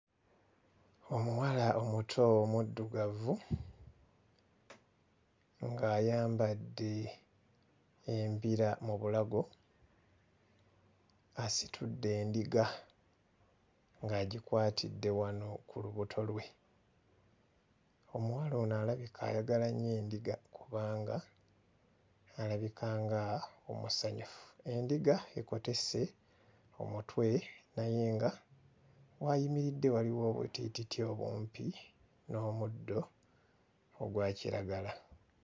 Omuwala omuto omuddugavu ng'ayambadde embira mu bulago asitudde endiga ng'agikwatidde wano ku lubuto lwe. Omuwala ono alabika ayagala nnyo endiga kubanga alabika nga omusanyufu. Endiga ekotese omutwe naye nga w'ayimiridde waliwo obutiititi obumpi n'omuddo ogwa kiragala.